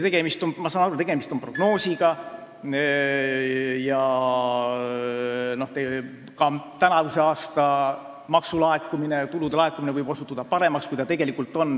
Ma saan aru, et tegemist on prognoosiga ja ka tänavuse aasta tulude laekumine võib osutuda paremaks.